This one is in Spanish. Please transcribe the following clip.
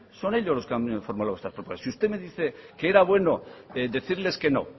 son ellos los que han formulado estas propuestas si usted me dice que era bueno decirles que no